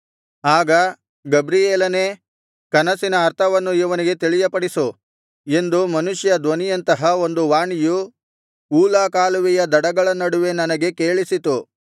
ಆಗ ಗಬ್ರಿಯೇಲನೇ ಕನಸಿನ ಅರ್ಥವನ್ನು ಇವನಿಗೆ ತಿಳಿಯಪಡಿಸು ಎಂದು ಮನುಷ್ಯ ಧ್ವನಿಯಂತಹ ಒಂದು ವಾಣಿಯು ಊಲಾ ಕಾಲುವೆಯ ದಡಗಳ ನಡುವೆ ನನಗೆ ಕೇಳಿಸಿತು